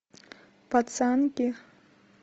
пацанки